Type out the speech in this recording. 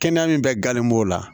Kɛnɛya min bɛ galon la